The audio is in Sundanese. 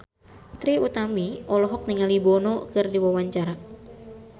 Trie Utami olohok ningali Bono keur diwawancara